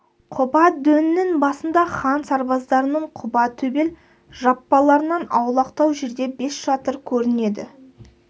құба дөңнің басында хан сарбаздарының құба төбел жаппаларынан аулақтау жерде бес шатыр көрінеді